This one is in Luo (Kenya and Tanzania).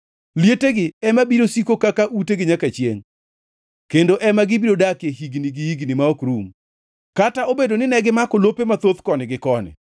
Lietegi ema biro siko kaka utegi nyaka chiengʼ kendo ema gibiro dakie higni gi higni ma ok rum, kata obedo ni negimako lope mathoth koni gi koni.